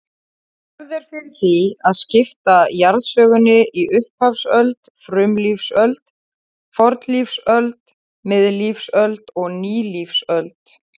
Hefð er fyrir því að skipta jarðsögunni í upphafsöld, frumlífsöld, fornlífsöld, miðlífsöld og nýlífsöld.